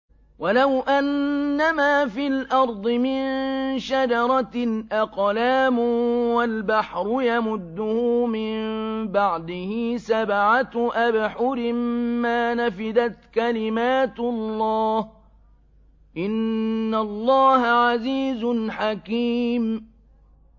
وَلَوْ أَنَّمَا فِي الْأَرْضِ مِن شَجَرَةٍ أَقْلَامٌ وَالْبَحْرُ يَمُدُّهُ مِن بَعْدِهِ سَبْعَةُ أَبْحُرٍ مَّا نَفِدَتْ كَلِمَاتُ اللَّهِ ۗ إِنَّ اللَّهَ عَزِيزٌ حَكِيمٌ